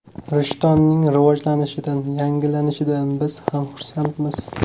Rishtonning rivojlanishidan, yangilanishidan biz ham xursandmiz.